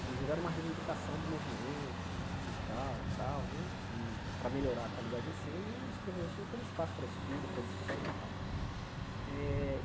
Inclusive, era uma reivindicação do movimento sindical e tal né, que para melhorar a qualidade de ensino, os professores tinham que ter um espaço para estudo, para discussão e tal. Eh e